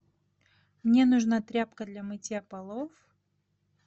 мне нужна тряпка для мытья полов